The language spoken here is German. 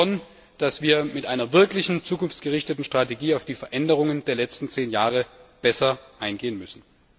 Ich denke schon, dass wir mit einer wirklichen zukunftsgerichteten Strategie auf die Veränderungen der letzten zehn Jahre besser eingehen müssen.